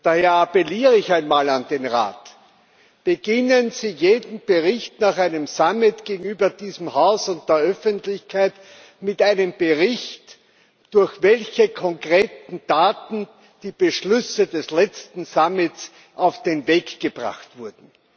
Daher appelliere ich einmal an den Rat Beginnen Sie jeden Bericht nach einem Gipfel gegenüber diesem Haus und der Öffentlichkeit mit einem Bericht darüber, durch welche konkreten Taten die Beschlüsse des letzten Gipfels auf den Weg gebracht wurden.